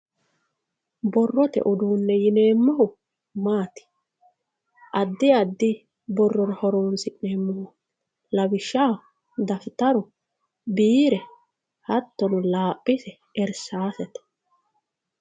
borrote uduunne yineemmohu maati addi addi borrora horonsi'neemmoho lawishshaho dafitaru biire hattono laaphise irsaasete .